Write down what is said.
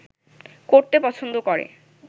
করতে পছন্দ করে